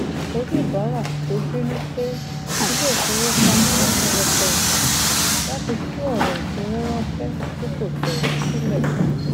oníbàárà tó bínú pe iléifowopamọ lọpọlọpọ ìgbà láti tú ọrọ ìfowó ránṣẹ tí kò tọ sílẹ